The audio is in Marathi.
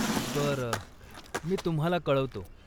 बरं, मी तुम्हाला कळवतो.